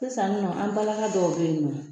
Sisannɔ an balaka dɔw bɛ yen nɔ.